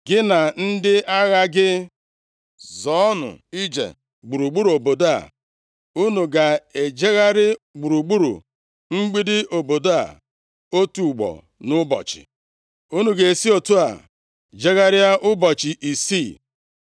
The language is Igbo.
Gị na ndị agha gị zọọnụ ije gburugburu obodo a. Unu ga-ejegharị gburugburu mgbidi obodo a otu ugbo nʼụbọchị. Unu ga-esi otu a jegharịa ụbọchị isii.